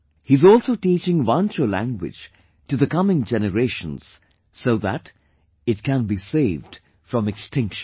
He is also teaching Wancho language to the coming generations so that it can be saved from extinction